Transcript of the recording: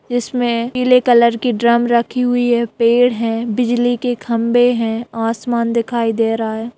इसमें पीले कलर की ड्रम रखी हुई है पेड़ हैं बिजली के खंभे हैं आसमान दिखाई दे रहा है।